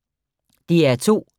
DR2